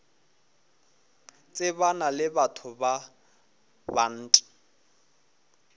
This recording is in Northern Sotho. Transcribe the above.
tsebana le batho ba bant